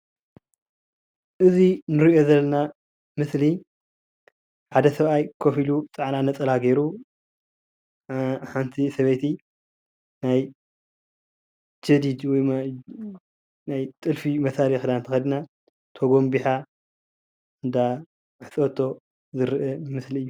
እዙይ እንሪኦ ዘለና ምስሊ ሓደ ሰብአይ ኮፍ ኢሉ ፃዕዳ ነፀላ ገይሩ ሓንቲ ሰበይቲ ጀዲድ ወይ ጥልፊ መሳሊ ተከዲና ተጎንቢሓ እንዳአሕፀበቶ ዝረአ ምስሊ እዩ፡፡